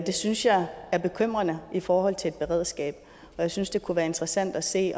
det synes jeg er bekymrende i forhold til et beredskab og jeg synes det kunne være interessant at se